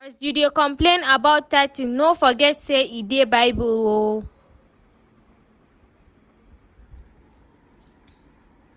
As you dey complain about tithe no forget say e dey bible oo